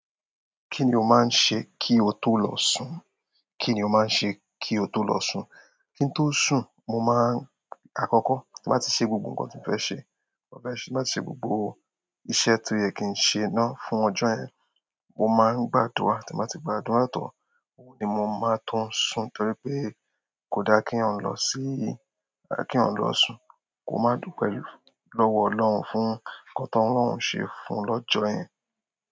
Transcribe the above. Kí ni o máa ń ṣe kí o tó lọ sùn? Kí ni o máa ń ṣe kí o tó lọ sùn? Kí n tó sùn, mo máa ń-- àkọ́kọ́, tí mo bá ti ṣe gbogbo nǹkan tí mo fẹ́ ṣe, mo fẹ́ ṣe, tí mo bá ti ṣe gbogbo iṣẹ́ tó yẹ kí n ṣe náà fún ọjọ́ yẹn, mo máa ń gbàdúrà. Tí mo bá ti gbàdúrà tán, oun ni mo máa tún sun torí pé kò dá kí ọ̀un lọ síí, kí ọ̀un lọ sùn, kò máa dú pẹ̀lú, lọ́wọ́ Ọlọ́run fún nǹkan tó Ọlọ́run ṣe fún lọ́jọ́ yẹn.